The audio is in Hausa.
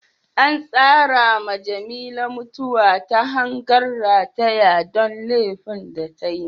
An tsara ma Jamila mutuwa ta hangan rataya don laifin da tayi.